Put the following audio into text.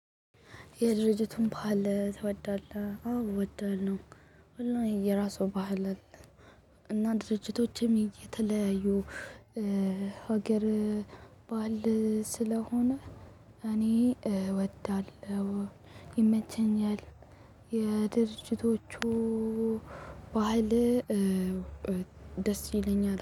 የድርጅቱን ባህል ትወዳለህ? አዎ እወዳለሁ እና የራሱ ባህል አለ። እና ድርጅቶችም እየተለያዩ ሀገር ባህል ስለሆነ እኔ እወዳለሁ ይመቸኛል። የድርጅቶቹ ባህል ደስ ይለኛል